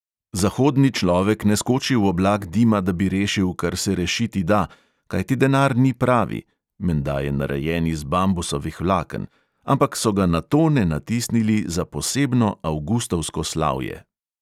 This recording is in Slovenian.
Zahodni človek ne skoči v oblak dima, da bi rešil, kar se rešiti da, kajti denar ni pravi (menda je narejen iz bambusovih vlaken), ampak so ga na tone natisnili za posebno avgustovsko slavje.